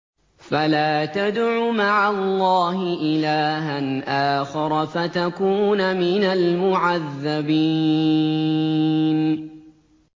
فَلَا تَدْعُ مَعَ اللَّهِ إِلَٰهًا آخَرَ فَتَكُونَ مِنَ الْمُعَذَّبِينَ